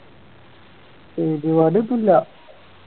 പരിപാടി ഒന്നും ഇല്ല